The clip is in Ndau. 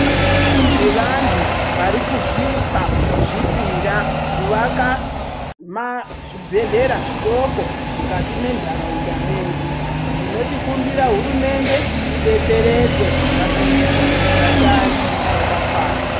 Nevantu vari kuzvipa kuzvipira kuvaka mazvibhedhlera zvidoko mukati mentaraunda medu. Tinochikumbira hurumende idetseredze pakuisa vashandi vakakwana.